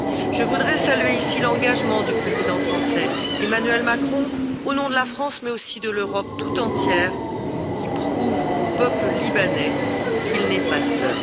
Je voudrais saluer ici l'engagement du président français, Emmanuel Macron, au nom de la France mais aussi de l'Europe tout entière, qui prouve au peuple libanais qu'il n'est pas seul.